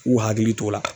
K'u hakili t'o la